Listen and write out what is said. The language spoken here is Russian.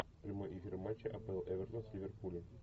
прямой эфир матча апл эвертон с ливерпулем